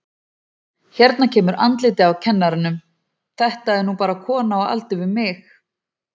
Hérna kemur andlitið á kennaranum, þetta er nú bara kona á aldur við mig.